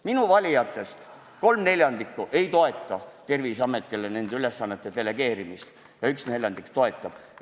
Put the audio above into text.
Minu valijatest kolm neljandikku ei toeta Terviseametile nende ülesannete delegeerimist ja üks neljandik toetab.